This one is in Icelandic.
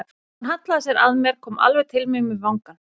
Hún hallaði sér að mér, kom alveg til mín með vangann.